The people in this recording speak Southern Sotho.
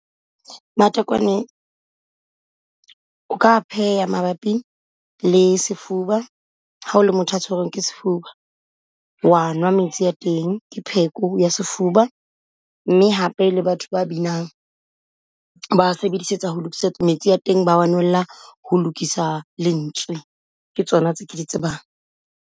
Matekwane o ka a pheha mabapi le sefuba hao le motho a tshwerweng ke sefuba. Wa nwa metsi a teng ke pheko ya sefuba, mme hape le batho ba binang ba sebedisetsang ho lokisa metsi ya teng, ba a nwella ho lokisa lentswe. Ke tsona tse ke di tsebang.